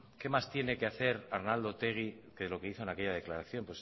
que más tiene que hacer arnaldo otegi que de lo que hizo en aquella declaración